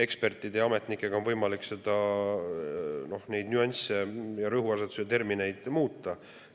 Ekspertide ja ametnikega on võimalik nüansse ja rõhuasetusi ja termineid muuta.